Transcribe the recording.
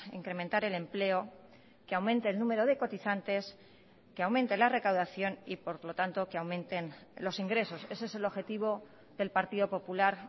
incrementar el empleo que aumente el número de cotizantes que aumente la recaudación y por lo tanto que aumenten los ingresos ese es el objetivo del partido popular